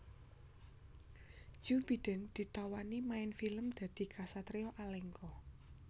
Joe Biden ditawani main film dadi ksatria Alengka